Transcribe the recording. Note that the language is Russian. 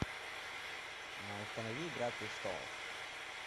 установи игра престолов